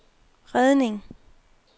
redning